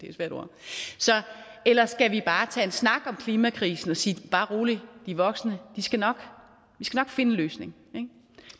eller skal vi bare tage en snak om klimakrisen og sige bare rolig de voksne skal nok finde en løsning